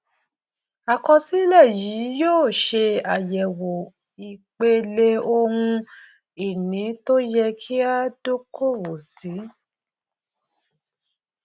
àkọsílẹ yìí yóò ṣe àyẹwò ipele ohun ìní tó yẹ kí a dókòwò sí